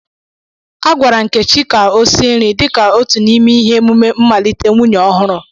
Agwara nkechi ka o sie nri dị ka otu n'ime ihe emume mmalite nwunye ọhụrụ